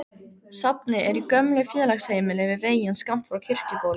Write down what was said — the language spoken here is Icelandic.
Safnið er í gömlu félagsheimili við veginn skammt frá Kirkjubóli.